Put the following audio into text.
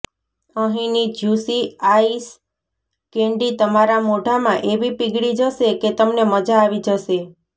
અહીની juicy ice candy તમારા મોઢામાં એવી પીગળી જશે કે તમને મજા આવી જશે